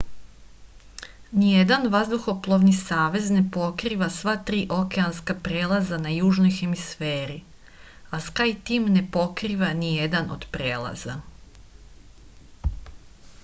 ниједан ваздухопловни савез не покрива сва 3 океанска прелаза на јужној хемисфери а скајтим не покрива ниједан од прелаза